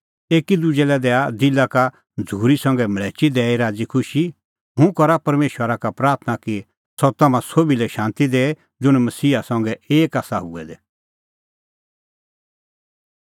एकी दुजै लै दैआ दिला का झ़ूरी संघै मल़्हैची दैई राज़ीखुशी हुंह करा परमेशरा का प्राथणां कि सह तम्हां सोभी लै शांती दैए ज़ुंण मसीहा संघै एक आसा हुऐ दै